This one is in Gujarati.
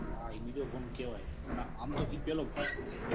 ના એ બીજો ફોન કેવાય. ના આમ તો ઈ પેલો ફોન કેવાય.